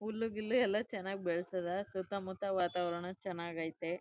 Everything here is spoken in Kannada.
ಹುಲ್ಲು ಗಿಲ್ಲು ಎಲ್ಲ ಚನ್ನಾಗ್ ಬೆಲಸದ ಸುತ್ತಮುತ್ತ ವಾತಾವರಣ ಚೆನ್ನಾಗಾಯ್ತೆ.